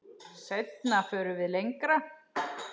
Seinna förum við lengra.